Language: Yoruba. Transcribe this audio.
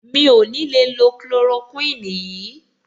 Mi ò ní le lo chloroquine yìí.